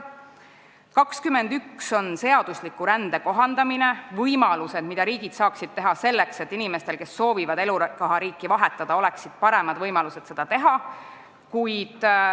Punktis 21 räägitakse seadusliku rände kohandamisest, võimalustest, mida riigid saaksid teha selleks, et inimestel, kes soovivad elukohariiki vahetada, oleksid paremad võimalused seda teha.